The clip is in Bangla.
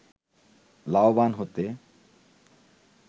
লাভবান হতে